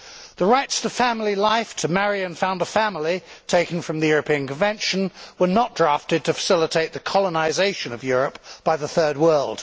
The rights to family life, to marry and to found a family, taken from the European Convention, were not drafted to facilitate the colonisation of Europe by the Third World.